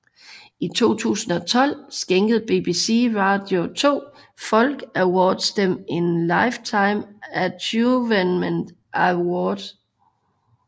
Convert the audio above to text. I 2012 skænkede BBC Radio 2 Folk Awards dem en Lifetime Achievement Award